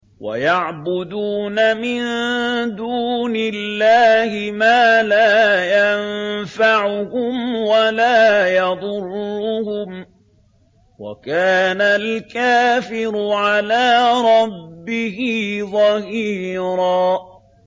وَيَعْبُدُونَ مِن دُونِ اللَّهِ مَا لَا يَنفَعُهُمْ وَلَا يَضُرُّهُمْ ۗ وَكَانَ الْكَافِرُ عَلَىٰ رَبِّهِ ظَهِيرًا